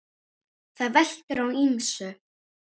Það veltur á ýmsu.